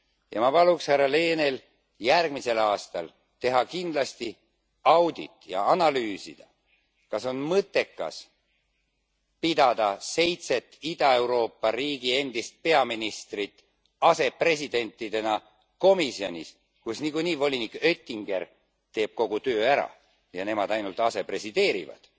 Ja ma paluks härra Lehnel järgmisel aastal teha kindlasti audit ja analüüsida, kas on mõttekas pidada seitset Ida Euroopa riigi endist peaministrit asepresidentidena komisjonis, kus nagunii volinik Oettinger teeb kogu töö ära ja nemad ainult asepresideerivad,